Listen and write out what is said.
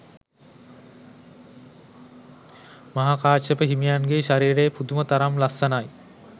මහා කාශ්‍යප හිමියන්ගේ ශරීරය පුදුම තරම් ලස්සනයි.